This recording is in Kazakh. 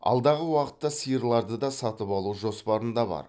алдағы уақытта сиырларды да сатып алу жоспарында бар